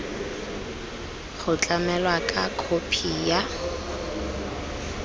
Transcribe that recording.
go tlamelwa ka khophi ya